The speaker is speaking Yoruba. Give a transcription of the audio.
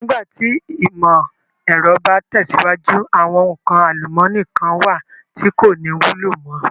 Nígbà tí ìmò ẹ̀rọ bá tẹ̀síwájú, àwọn nǹkan àlùmọ́ọ́nì kán wà tí kò ní wúlò mo.